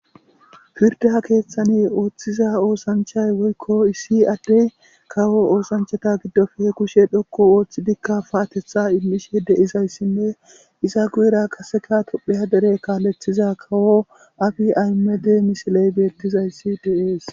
Firde ha keeththane ooththiza oosanchay woykko issi addey kawo oosanchata giddofhe kushe dhokku ooththidikka paatetha immishe deizayssinne iza guyera qaseka topheya dere kaalethiza kawo afi aymede misiley beettizayssi deees.